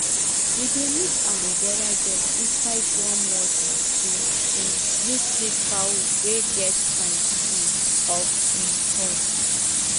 we dey mix aloe vera gel inside warm water to um use treat fowl wey get sign um of um pox